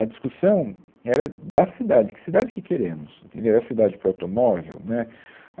A discussão era da cidade, que cidade que queremos, entendeu, é a cidade para o automóvel, né